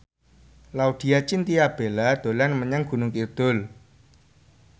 Laudya Chintya Bella dolan menyang Gunung Kidul